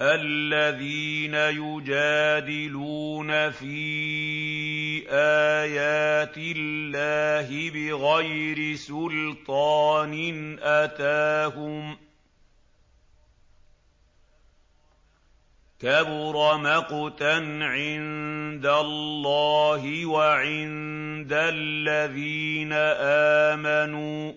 الَّذِينَ يُجَادِلُونَ فِي آيَاتِ اللَّهِ بِغَيْرِ سُلْطَانٍ أَتَاهُمْ ۖ كَبُرَ مَقْتًا عِندَ اللَّهِ وَعِندَ الَّذِينَ آمَنُوا ۚ